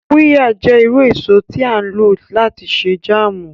Qirya jẹ iru eso ti a lo lati ṣe jàámu.